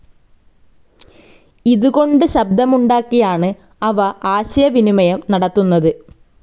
ഇതുകൊണ്ട് ശബ്ദമുണ്ടാക്കിയാണ് അവ ആശയവിനിമയം നടത്തുന്നത്.